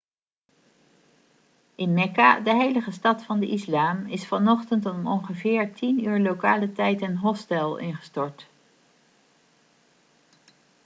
in mekka de heilige stad van de islam is vanochtend om ongeveer 10.00 uur lokale tijd een hostel ingestort